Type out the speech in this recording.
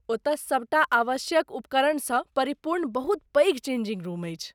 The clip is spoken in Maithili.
ओतय सभटा आवश्यक उपकरणसँ परिपूर्ण बहुत पैघ चेंजिंग रूम अछि।